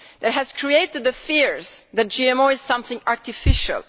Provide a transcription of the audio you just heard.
it has created the fears that GMO is something artificial.